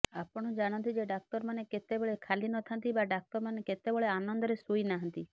ଆପଣ ଜାଣନ୍ତି ଯେ ଡାକ୍ତରମାନେ କେତେବେଳେ ଖାଲି ନଥାନ୍ତି ବା ଡାକ୍ତରମାନେ କେତେବେଳେ ଆନନ୍ଦରେ ଶୋଇନାହାନ୍ତି